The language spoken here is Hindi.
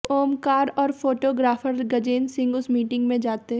ओमकार और फोटोग्राफर गजेन्द्र सिंह उस मीटिंग में जाते